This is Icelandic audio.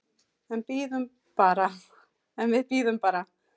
En við biðum bara.